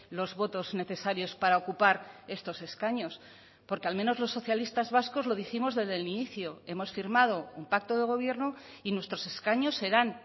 los votos necesarios para ocupar estos escaños porque al menos los socialistas vascos lo dijimos desde el inicio hemos firmado un pacto de gobierno y nuestros escaños serán